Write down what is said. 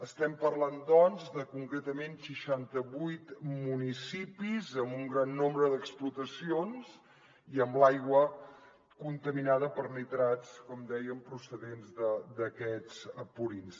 estem parlant doncs de concretament seixantavuit municipis amb un gran nombre d’explotacions i amb l’aigua contaminada per nitrats com dèiem procedents d’aquests purins